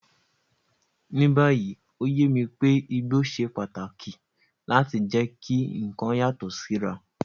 Ní báyìí, ó yé mi pé igbó ṣe pàtàkì láti jẹ́ kí nǹkan yàtọ̀ síra.